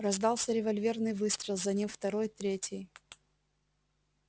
раздался револьверный выстрел за ним второй третий